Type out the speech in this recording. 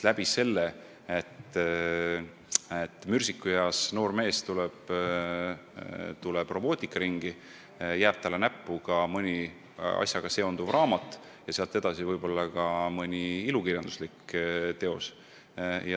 Kui mürsikueas noor mees tuleb robootikaringi, siis jääb talle ehk näppu ka mõni teemaga seonduv raamat ja sealt edasi võib-olla ka mõni ilukirjanduslik teos.